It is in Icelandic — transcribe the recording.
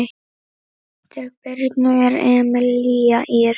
Dóttir Birnu er Emelía Ýr.